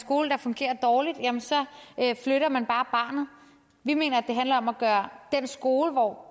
skole der fungerer dårligt så flytter man bare barnet vi mener at det handler om at gøre den skole hvor